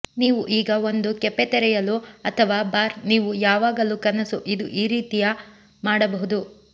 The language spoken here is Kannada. ನೀವು ಈಗ ಒಂದು ಕೆಫೆ ತೆರೆಯಲು ಅಥವಾ ಬಾರ್ ನೀವು ಯಾವಾಗಲೂ ಕನಸು ಇದು ರೀತಿಯ ಮಾಡಬಹುದು